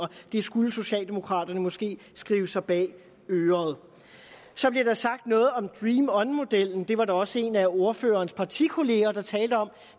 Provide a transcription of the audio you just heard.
det skulle socialdemokraterne måske skrive sig bag øret så blev der sagt noget om dream on modellen det var der også en af ordførerens partikolleger der talte om